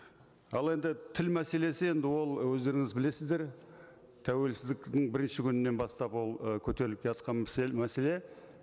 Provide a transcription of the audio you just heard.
ал енді тіл мәселесі енді ол өздеріңіз білесіздер тәуелсіздіктің бірінші күнінен бастап ол ы көтеріліп келе жатқан мәселе